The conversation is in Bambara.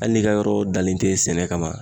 Hali n'i ka yɔrɔ dalen tɛ sɛnɛ kama